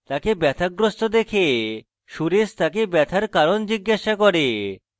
তাকে ব্যাথাগ্রস্থ দেখে সুরেশ তাকে ব্যথার কারণ জিজ্ঞাসা করে